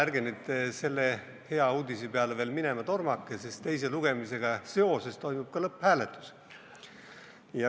Ärge nüüd selle hea uudise peale veel minema tormake, sest teise lugemisega seoses toimub ka lõpphääletus.